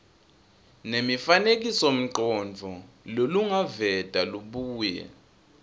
nemifanekisomcondvo lolungaveta lubuye